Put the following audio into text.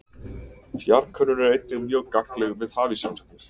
Fjarkönnun er einnig mjög gagnleg við hafísrannsóknir.